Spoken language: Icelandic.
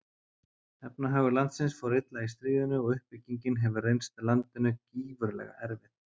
Efnahagur landsins fór illa í stríðinu og uppbyggingin hefur reynst landinu gífurlega erfið.